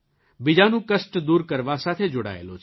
બીજાનું કષ્ટ દૂર કરવા સાથે જોડાયેલો છે